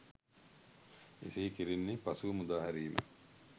එසේ කෙරෙන්නේ පසුව මුදා හැරීම